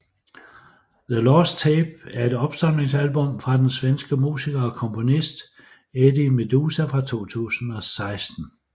The Lost Tape er et opsamlingsalbum fra den svenske musiker og komponist Eddie Meduza fra 2016